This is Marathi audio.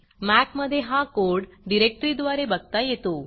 मॅक मधे हा कोड डिरेक्टरीद्वारे बघता येतो